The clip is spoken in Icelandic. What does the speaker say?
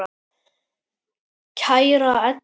Kæra Edda.